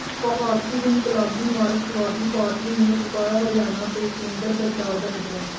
ਭਾਰਤੀ ਇਨਕਲਾਬੀ ਮਾਰਕਸਵਾਦੀ ਪਾਰਟੀ ਨੇ ਫੂਕਿਆ ਹਰਿਆਣਾ ਤੇ ਕੇਂਦਰ ਸਰਕਾਰ ਦਾ ਪੁਤਲਾ